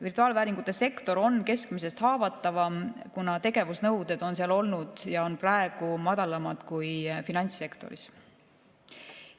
Virtuaalvääringute sektor on keskmisest haavatavam, kuna tegevusnõuded on seal olnud ja on praegu madalamad kui finantssektoris.